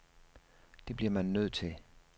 Det bliver man nødt til.